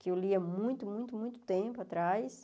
que eu li há muito, muito, muito tempo atrás.